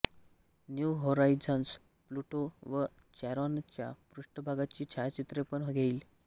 new Horizons Pluto व चेरॉनच्या पृष्ठभागाची छायाचित्रेपण घेईल